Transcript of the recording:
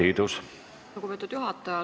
Aitäh, lugupeetud juhataja!